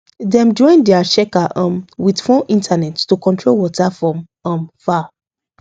dem join their checker um with phone internet to control water from um far